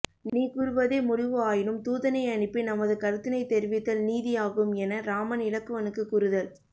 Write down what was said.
நீ கூறுவதே முடிவு ஆயினும் தூதனை அனுப்பி நமது கருத்தினைத் தரெிவித்தல் நீதியாகும் என இராமன் இலக்குவனுக்குக் கூறுதல்